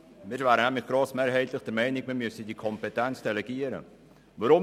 Wir wären grossmehrheitlich der Meinung, dass man diese Kompetenz delegieren sollte.